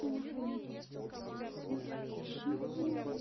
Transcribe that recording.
и нахрен суки чего